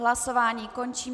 Hlasování končím.